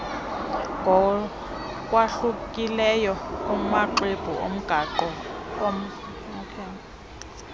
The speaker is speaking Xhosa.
ngokwahlukileyo kumaxwebhu omgaqo